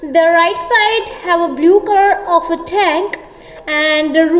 the right side have a blue colour of a tank and the room--